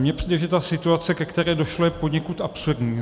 Mně přijde, že ta situace, ke které došlo, je poněkud absurdní.